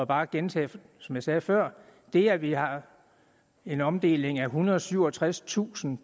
bare gentage som jeg sagde før at det at vi har en omdeling af ethundrede og syvogtredstusind